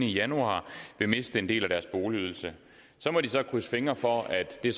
i januar vil miste en del af deres boligydelse så må de krydse fingre for at det